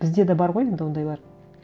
бізде де бар ғой енді ондайлар